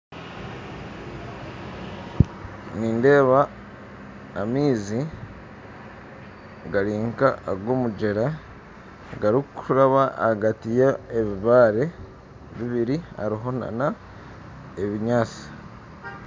Nindeeba amaizi gari nka ag'omugyera garikuraba hagati ya ebibaare bibiri hariho nana ebinyaatsi